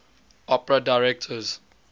opera directors